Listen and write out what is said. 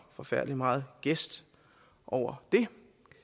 forfærdelig meget gæst over det